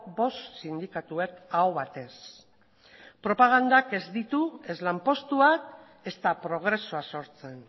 bost sindikatuek aho batez propagandak ez ditu ez lanpostuak ezta progresua sortzen